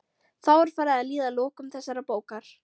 Þá er farið að líða að lokum þessarar bókar.